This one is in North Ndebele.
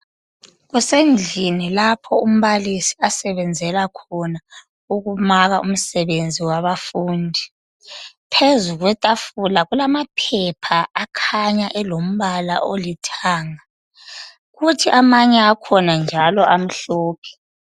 Kusendlini lapho umbalisi asebenzela khona ukumaka umsebenzi wabafundi. Phezulu kwetafula kulamaphepha akhanya elombala olithanga kuthi amanye akhona njalo amhlophe.